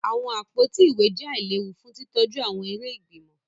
Awọn àpótí ìwé jẹ ailewu fún titọju awọn eré ìgbìmọ̀